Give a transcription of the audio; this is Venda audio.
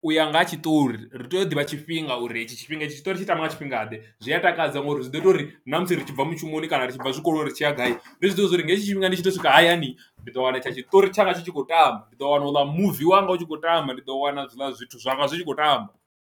U ya nga ha tshiṱori ri tea u ḓivha tshifhinga uri etshi tshifhinga tshiṱori tshi tamba nga tshifhinga ḓe zwi a takadza ngori zwi ḓo ita uri na musi ri tshi bva mushumoni kana ri tshi bva zwikoloni ri tshi ya gai ndi zwi ḓivhe zwori nga hetshi tshifhinga ndi tshi to swika hayani, ndi ḓo wana tsha tshiṱori tshanga tshi tshi khou tamba ndi ḓo wana u ḽa muvi wanga u tshi khou tamba ndi ḓo wana hezwiḽa zwithu zwanga zwi tshi khou tamba.